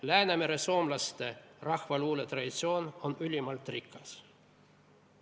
Läänemeresoomlaste rahvaluule traditsioon on ülimalt rikas.